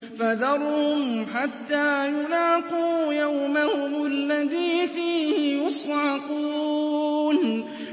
فَذَرْهُمْ حَتَّىٰ يُلَاقُوا يَوْمَهُمُ الَّذِي فِيهِ يُصْعَقُونَ